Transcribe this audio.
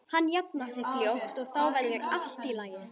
Hann jafnar sig fljótt og þá verður allt í lagi.